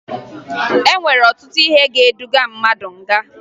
E nwere ọtụtụ ihe nwere ike iduga mmadụ nga